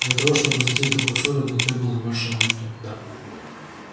для того чтобы затеять такую ссору не требовалось большого труда